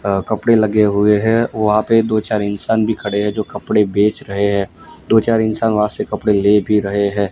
अ कपड़े लगे हुए हैं वहां पे दो चार इंसान भी खड़े हैं जो कपड़े बेच रहे हैं दो चार इंसान वहां से कपड़े ले भी रहे है।